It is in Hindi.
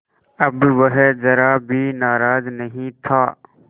अब वह ज़रा भी नाराज़ नहीं था